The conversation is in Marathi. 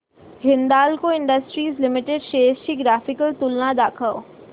हिंदाल्को इंडस्ट्रीज लिमिटेड शेअर्स ची ग्राफिकल तुलना दाखव